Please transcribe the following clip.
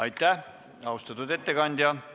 Aitäh, austatud ettekandja!